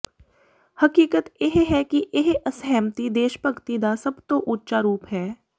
ਹਕੀਕਤ ਇਹ ਹੈ ਕਿ ਇਹ ਅਸਹਿਮਤੀ ਦੇਸ਼ ਭਗਤੀ ਦਾ ਸਭ ਤੋਂ ਉੱਚਾ ਰੂਪ ਹੈ